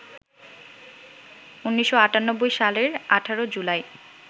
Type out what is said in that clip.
১৯৯৮ সালের ১৮ জুলাই